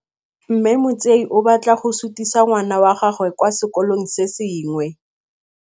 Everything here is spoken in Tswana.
Mme Motsei o batla go sutisa ngwana wa gagwe kwa sekolong se sengwe.